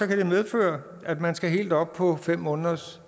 kan det medføre at man skal helt op på fem måneders